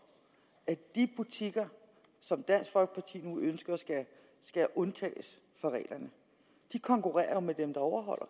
at de butikker som dansk folkeparti nu ønsker skal undtages fra reglerne konkurrerer med dem der overholder